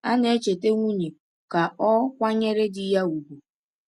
A na-echeta nwunye ka o kwanyere di ya ugwu.